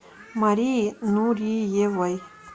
марией нуриевой